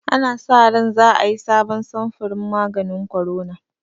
Ana sa ran za a yi sabon samfurin maganin korona